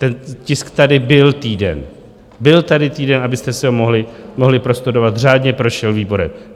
Ten tisk tady byl týden, byl tady týden, abyste si ho mohli prostudovat, řádně prošel výborem.